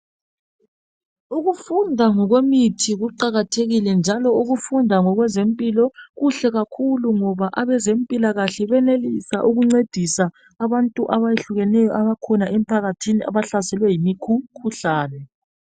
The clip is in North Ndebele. Ukufunda ngokwemithi kuqakathekile njalo ukufunda ngokwezempilo kuhle kakhulu ngoba abezempilakahle benelisa ukuncedisa abantu abayehlukeneyo abakhona emphakathini abahlaselwe yimikhuhlane.